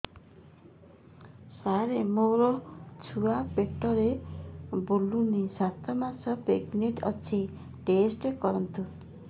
ସାର ମୋର ଛୁଆ ପେଟରେ ବୁଲୁନି ସାତ ମାସ ପ୍ରେଗନାଂଟ ଅଛି ଟେଷ୍ଟ କରନ୍ତୁ